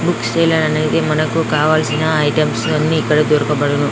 Book sale అనేది మనకి కావాల్సిన ఐటమ్స్ అన్ని ఇక్కడ దొరకబడును.